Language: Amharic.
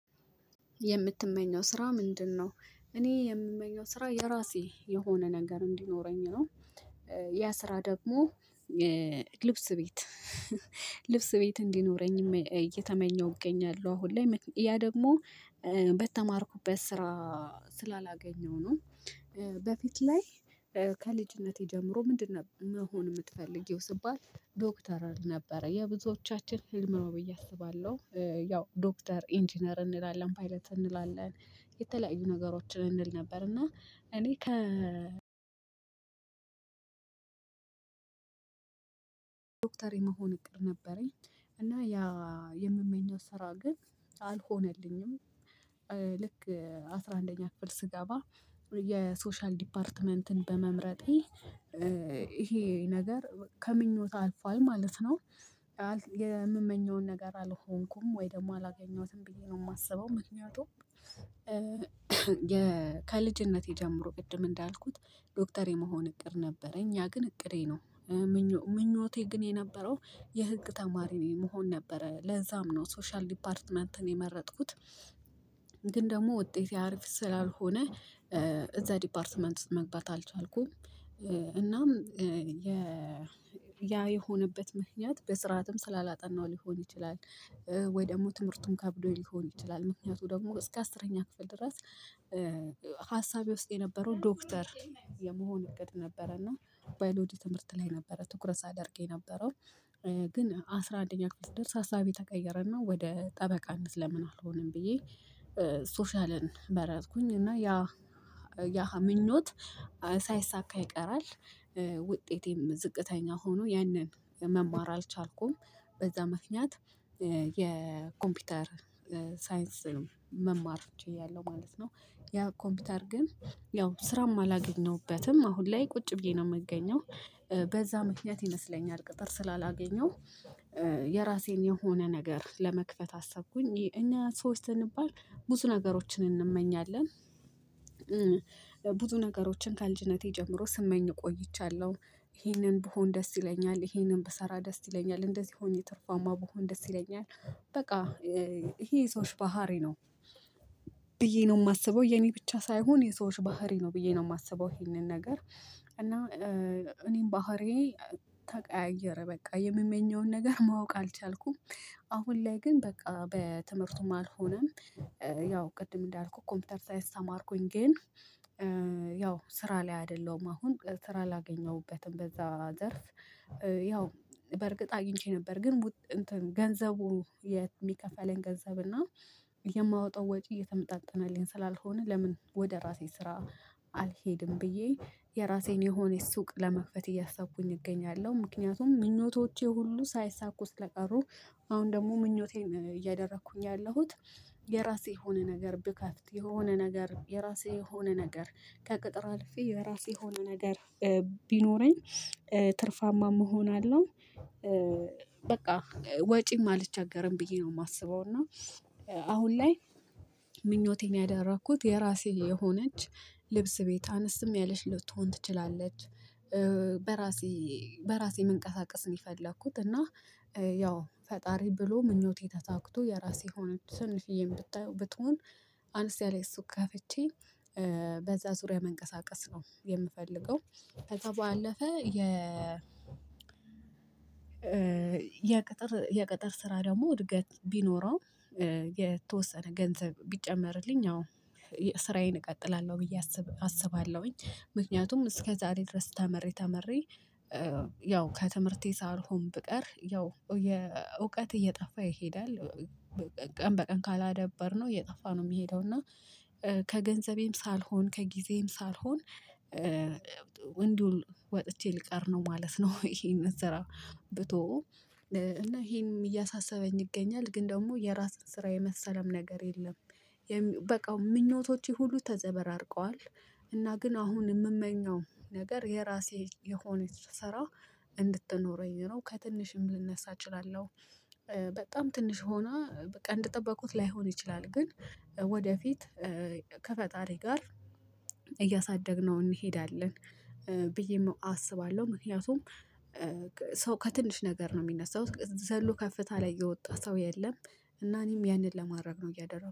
የምትመኘው ስራ ምንድነው? እኔ የምመኘው ስራ የራሴ የሆነ ነገር እንዲኖረኝ ነው። ያ ስራ ደግሞ ልብስ ቤት ልብስ ቤት እንዲኖረኝ እየተመኘሁ እገኛለሁ። አሁን ላይ ያ ደግሞ በተማርኩበት ስራ ስላላገኘሁ ነው። በፊት ላይ ከልጅነቴ ጀምሮ ምንድነው መሆን የምትፈልጊው ስባል? ዶክተር እል ነበረ የብዙዎቻችን ፊልም ነው ብዬ አስባለሁ። ያው ዶክተር ኢንጂነር እንላለን ፓይለት እንላለን። የተለያዩ ነገሮችን እንል ነበር እና እኔ ከ ዶክተር የመሆን እቅድ ነበረኝ። እና ያ የምመኘው ስራ ግን አልሆነልኝም። ልክ አስራ አንደኛ ክፍል ስገባ የሶሻል ዲፓርትመንትን በመምረጤ ይሄ ነገር ከምኞት አልፏል ማለት ነው። የምመኘውን ነገር አልሆንኩም ወይ ደግሞ አላገኘሁትም ብዬ ነው የማስበው። ምክንያቱም ከልጅነቴ ጀምሮ ቅድም እንዳልኩት ዶክተር የመሆን እቅድ ነበረኝ ግን እቅዴ ነው። ምኞቴ ግን የነበረው የህግ ተማሪ ነው የመሆን ነበረ ለዛም ነው ሶሻል ዲፓርትመንትን የመረጥኩት። ግን ደግሞ ውጤት ያሪፍ ስላልሆነ እዛ ዲፓርትመንት መግባት አልቻልኩም። እናም ያ የሆነበት ምክንያት በስርዓትም ስላላጠናው ሊሆን ይችላል። ወይ ደግሞ ትምህርቱን ከብዶኝ ሊሆን ይችላል ምክንያቱ ደግሞ እስከ አስረኛ ክፍል ድረስ። ሀሳቤ ውስጥ የነበረው ዶክተር የመሆን እቅድ ነበረና ባዮሎጂ ትምህርት ላይ ነበረ ትኩረት ሳደርግ የነበረው። ግን አስራ አንደኛ ክፍል ስደርስ አሳቢ ተቀየረና ወደ ጠበቃነት ለምን አልሆንም ብዬ። ሶሻልን መረጥኩኝ እና ያ ያ ምኞት ሳይሳካ ይቀራል። ውጤቴም ዝቅተኛ ሆኖ ያንን መማር አልቻልኩም በዛ ምክንያት የኮምፒውተር ሳይንስ መማር ችያለለሁ ማለት ነው። ያ ኮምፒውተር ግን ያው ስራም አላገኘሁበትም አሁን ላይ ቁጭ ብዬ ነው የምገኘው። በዛ ምክንያት ይመስለኛል ቅጥር ስላላገኘሁ የራሴን የሆነ ነገር ለመክፈት አሰብኩኝ። እኛ ሰዎች ስንባል ብዙ ነገሮችን እንመኛለን። ብዙ ነገሮችን ከልጅነቴ ጀምሮ ስመኝ ቆይቻለሁ ይሄንን ብሆን ደስ ይለኛል ይሄንን ብሰራ ደስ ይለኛል እንደዚህ ሆኜ ትርፋማ ብሆን ደስ ይለኛል። በቃ ይሄ የሰዎች ባህሪ ነው። ነው የማስበው የኔ ብቻ ሳይሆን የሰዎች ባህሪ ነው ብዬ ነው የማስበው። ይሄንን ነገር እና እኔም ባህሪዬ ተቀያየረ በቃ የምመኘውን ነገር ማወቅ አልቻልኩም። አሁን ላይ ግን በቃ በትምህርቱም አልሆነም። ያው ቅድም እንዳልኩት ኮምፒውተር ሳይንስ ተማርኩኝ ግን። ስራ ላይ አይደለሁም አሁን ስራ ላገኘሁበትም በዛ ዘርፍ። ያው በርግጥ አግኝቼ ነበር ግን። ገንዘቡ የሚከፈለን ገንዘብ እና የማወጣው ወጪ እየተመጣጠነልኝ ስላልሆነ ለምን ወደ ራሴ ስራ አልሄድም ብዬ የራሴን የሆነ ሱቅ ለመክፈት እያሰብኩኝ እገኛለሁ ምክንያቱም ምኞቶቼ ሁሉ ሳይሳኩ ስለቀሩ። አሁን ደግሞ ምኞቴን እያደረኩኝ ያለሁት የራሴ የሆነ ነገር ብከፍት የሆነ ነገር የራሴ የሆነ ነገር ከቅጥር አልፌ የራሴ የሆነ ነገር ቢኖረኝ ትርፋማም እሆናለሁ። በቃ ወጪም አልቸገርም ብዬ ነው የማስበው። እና አሁን ላይ ምኞቴን ያደረኩት የራሴ የሆነች ልብስ ቤት አነስም ያለች ልትሆን ትችላለች። በራሴ በራሴ መንቀሳቀስ ነው የፈለኩት። እና ያው ፈጣሪ ብሎ ምኞቴ ተሳክቶ የራሴ የሆነች ትንሽዬም ብትሆን አነስ ያለች ሱቅ ከፍቼ በዛ ዙሪያ መንቀሳቀስ ነው የምፈልገው። ከዛ ባአለፈ የቅጥር የቅጥር ስራ ደግሞ እድገት ቢኖረው። የተወሰነ ገንዘብ ቢጨመርልኝ አዎ ስራዬን እቀጥላለሁ ብዬ አስባለሁኝ። ምክንያቱም እስከ ዛሬ ድረስ ተምሬ ተምሬ ያው ከትምህርቴ ሳልሆን ብቀር ያው የእውቀት እየጠፋ ይሄዳል። ቀን በቀን ካላደበርነው እየጠፋ ነው የሚሄደው። እና ከገንዘቤም ሳልሆን ከጊዜም ሳልሆን እንዲሁ ወጥቼ ልቀር ነው ማለት ነው። ይሄን ስራ ብተወው እና ይሄንም እያሳሰበኝ ይገኛል። ግን ደግሞ የራስን ስራ የመሰለም ነገር የለም። በቃ ምኞቶቼ ሁሉ ተዘበራርቀዋል። እና ግን አሁን የምመኘው ነገር የራሴ የሆነች ሰራ እንድትኖረኝ ነው። ከትንሽም ልነሳ እችላለሁ። በጣም ትንሽ ሆና በቃ እንደጠበቁት ላይሆን ይችላል ግን ወደፊት ከፈጣሪ ጋር እያሳደግነው እንሄዳለን። ብዬም አስባለሁ ምክንያቱም ሰው ከትንሽ ነገር ነው የሚነሳው ዘሎ ከፍታ ላይ የወጣ ሰው የለም። እና እኔም ያንን ለማድረግ ነው እያደረኩ